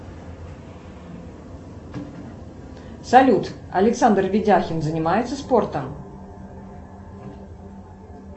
салют александр ведяхин занимается спортом